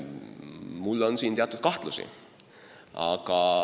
Mul on selles osas teatud kahtlusi.